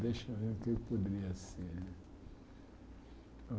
Deixa eu ver o que poderia ser.